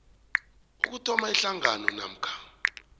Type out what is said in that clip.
ukuthoma ihlangano namkha